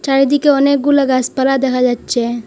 চারিদিকে অনেকগুলো গাসপালা দেখা যাচ্ছে।